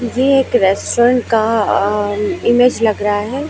ये एक रेस्टोरेंट का अ इमेज लग रहा है।